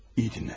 İyi dinlə.